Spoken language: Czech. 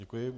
Děkuji.